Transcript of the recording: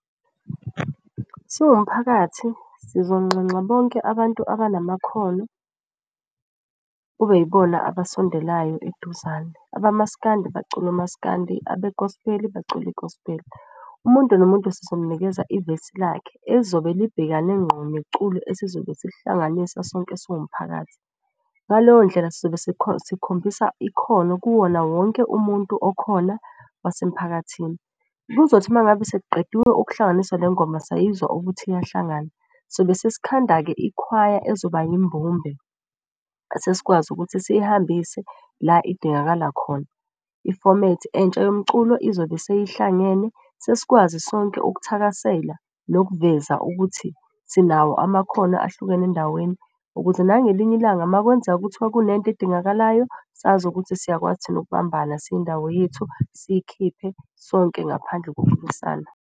Siwumphakathi sizonxenxa bonke abantu abanamakhono kube yibona abasondelayo eduzane, abaMaskandi bacule uMaskandi abe-Gospel bacule i-Gospel. Umuntu nomuntu sizomnikeza ivesi lakhe ezobe libhekane nqondo neculo esizobe silihlanganisa sonke siwumphakathi. Ngaleyo ndlela sizobe sikhombisa ikhono kuwona wonke umuntu okhona wasemphakathini. Kuzothi uma ngabe sekuqediwe ukuhlanganiswa le ngoma sayizwa ukuthi iyahlangana. Sobe sesikhanda-ke ikhwaya ezoba yimbumbe sesikwazi ukuthi siyihambise la idingakala khona. Ifomethi entsha yomculo izobe seyihlangene sesikwazi sonke ukuthakasela nokuveza ukuthi sinawo amakhono ahlukene endaweni. Ukuze nangelinye ilanga makwenzeka kuthiwa kunento edingakalayo sazi ukuthi siyakwazi thina ukubambana siyindawo yethu siyikhiphe sonke ngaphandle .